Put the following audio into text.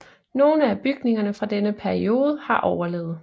Nogle af bygningerne fra denne periode har overlevet